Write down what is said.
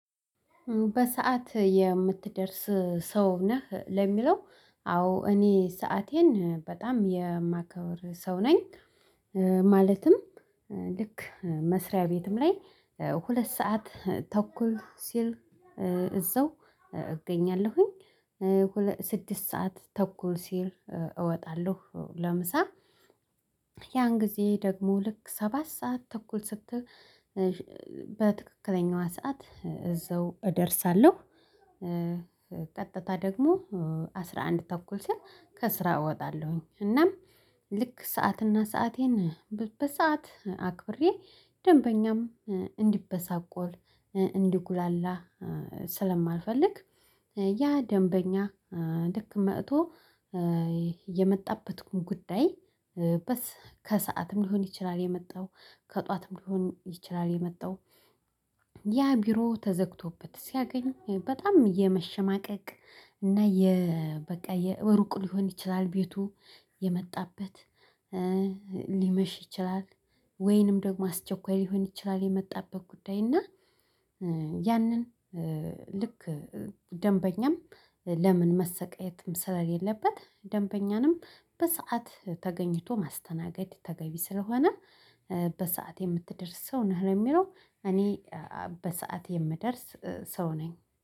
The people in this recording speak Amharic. በሰአት የምትደርስ ሰው ነህ ለሚለው? አዎ እኔ ሰአቴን በጣም የማከብር ሰው ነኝ። ማለትም ልክ መስሪያ ቤትም ላይ ሁለት ሰዓት ተኩል ሲል እዛው እገኛለሁኝ። ስድስት ሰዓት ተኩል ሲል እወጣለሁ ለምሳ። ያን ጊዜ ደግሞ ልክ ሰባት ሰዓት ተኩል ስትል በትክክለኛው ሰዓት እዛው እደርሳለሁ። ቀጥታ ደግሞ አስራ አንድ ተኩል ሲል ከስራ እወጣለሁኝ። እናም ልክ ሰዓትና ሰአቴን በሰአት አክብሬ ደንበኛም እንዲበሳቆል እንዲጉላላ ስለማልፈልግ። ያ ደንበኛ ልክ መቶ የመጣበትን ጉዳይ በስ ከሰአትም ሊሆን ይችላል። የመጣው ከጧትም ሊሆን ይችላል። የመጣው ያ ቢሮ ተዘግቶበት ሲያገኝ በጣም የመሸማቀቅ እና የ በቃ ሩቅ ሊሆን ይችላል ቤቱ የመጣበት ሊመሽ ይችላል። ወይንም ደግሞ አስቸኳይ ሊሆን ይችላል የመጣበት ጉዳይ። እና ያንን ልክ ደንበኛም ለምን መሰቃየትም ስለሌለበት ደንበኛንም በሰአት ተገኝቶ ማስተናገድ ተገቢ ስለሆነ። በሰአት የምትደርስ ሰው ነህ ለሚለው? እኔ በሰአት የምደርስ ሰው ነኝ